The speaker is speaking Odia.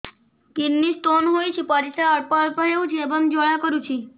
କିଡ଼ନୀ ସ୍ତୋନ ହୋଇଛି ପରିସ୍ରା ଅଳ୍ପ ଅଳ୍ପ ହେଉଛି ଏବଂ ଜ୍ୱାଳା କରୁଛି